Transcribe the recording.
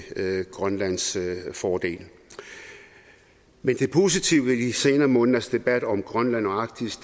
grønlands fordel men det positive ved de senere måneders debat om grønland og arktis